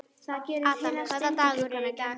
Adam, hvaða dagur er í dag?